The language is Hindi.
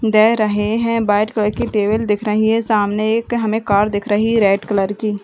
दे रहे हैं व्हाइट कलर की टेबल दिख रही है सामने एक हमे कार दिख रही है रेड कलर की--